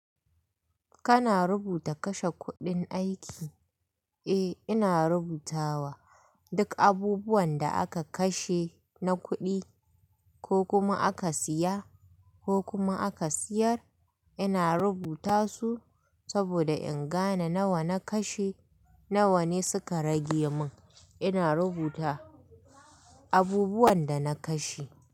Kana rubuta kashe kuɗin aiki? Eh, ina rubutawa. Duk abubuwan da aka kashe na kuɗi ko kuma aka siya ko kuma aka siyar, ina rubuta su saboda in gane nawa na kashe, nawa ne suka rage min. Ina rubuta abubuwan da na kashe.